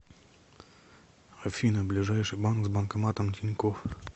афина ближайший банк с банкоматом тинькофф